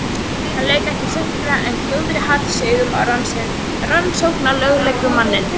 Hann lauk ekki við setninguna en glórði hatursaugum á rannsóknarlögreglumanninn.